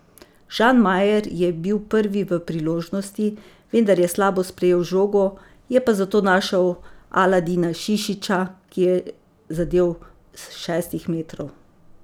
Žan Majer je bil prvi v priložnosti, vendar je slabo sprejel žogo, je pa zato našel Aladina Šišića, ki je zadel s šestih metrov.